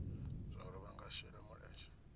zwauri vha nga shela mulenzhe